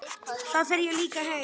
Þá fer ég líka heim